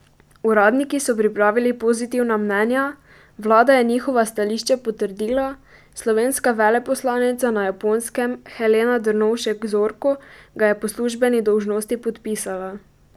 Uradniki so pripravili pozitivna mnenja, vlada je njihova stališča potrdila, slovenska veleposlanica na Japonskem Helena Drnovšek Zorko ga je po službeni dolžnosti podpisala.